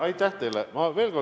Aitäh teile!